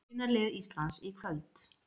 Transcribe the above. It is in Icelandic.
Byrjunarlið Íslands í kvöld